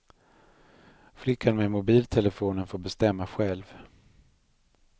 Flickan med mobiltelefonen får bestämma själv.